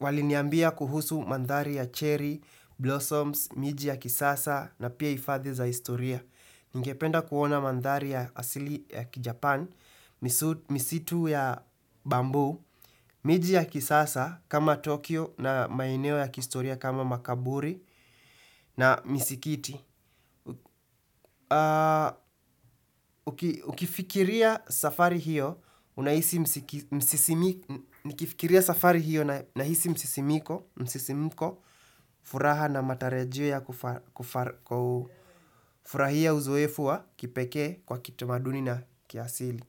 Waliniambia kuhusu mandhari ya cherry, blossoms, miji ya kisasa na pia hifadhi za historia Ningependa kuona mandhari ya asili ya kijapan, misitu ya bambuu, miji ya kisasa kama Tokyo na maeneo ya kihistoria kama makaburi na misikiti nikifikiria safari hiyo, nahisi msisimuko furaha na matarajio ya kufurahia uzoefu wa kipekee kwa kitamaduni na kiasili.